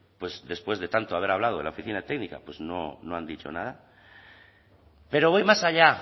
pues después de tanto haber hablado de la oficina técnica no han dicho nada pero voy más allá